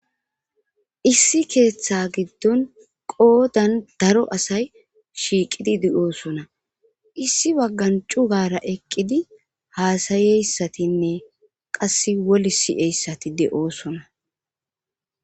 Issi keeththa giddon qoodan daro asay shiiqidi de'oosona issi waggan cu gara eqqidi haasayeyssatinne qas woli si'eyssati de.oosona.